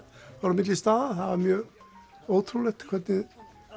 á milli staða það var mjög ótrúlegt hvernig